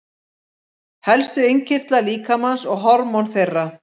Svörfuður, hvað er opið lengi í Háskólanum í Reykjavík?